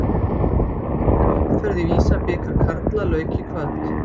Annarri umferðinni í Visa-bikar karla lauk í kvöld.